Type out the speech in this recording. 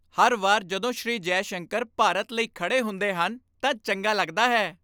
ਹਰ ਵਾਰ ਜਦੋਂ ਸ਼੍ਰੀ ਜੈਸ਼ੰਕਰ ਭਾਰਤ ਲਈ ਖੜੇ ਹੁੰਦੇ ਹਨ, ਤਾਂ ਚੰਗਾ ਲੱਗਦਾ ਹੈ।